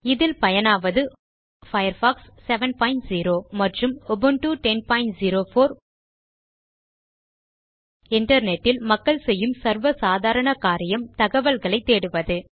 இதில் பயனாவது உபுண்டு 1004 மற்றும் பயர்ஃபாக்ஸ் 70 இன்டர்நெட் இல் மக்கள் செய்யும் சர்வ சாதாரண காரியம் தகவல்களை தேடுவது